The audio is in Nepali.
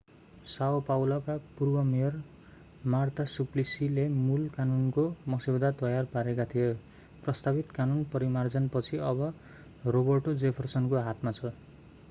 साओ पाउलो são paulo का पूर्व मेयर मार्ता सुप्लिसी marta suplicyले मूल कानूनको मस्यौदा तयार पारेका थिए। प्रस्तावित कानून परिमार्जन पछि अब रोबर्टो जेफरसन roberto jefferson को हातमा छ।